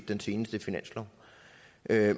den seneste finanslov